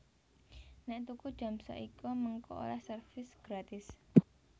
Nek tuku jam Seiko mengko oleh servis gratis